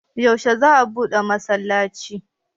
Yaushe za a buɗe masallacin?